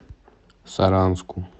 саранску